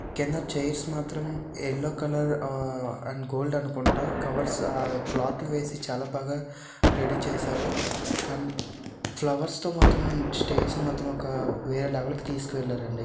కింద చైర్స్ మాత్రం yellow colour ఆ అండ్ గోల్డ్ అనుకుంట. కవర్స్ ఆ క్లాత్ వేసి చాలా బాగా రెడీ చేసారు. అండ్ ఫ్లవర్స్ తో మాత్రం స్టేజ్ మాత్రం ఒక వేరే లెవెల్ కి తీసుకెళ్లారండి.